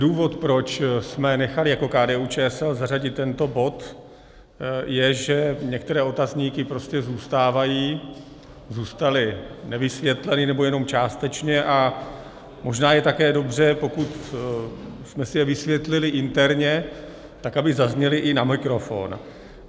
Důvod, proč jsme nechali jako KDU-ČSL zařadit tento bod, je, že některé otazníky prostě zůstávají, zůstaly nevysvětleny, nebo jenom částečně, a možná je také dobře, pokud jsme si je vysvětlili interně, tak aby zazněly i na mikrofon.